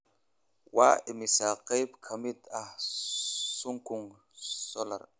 Waa immisa qayb ka mid ah Sunking Solar?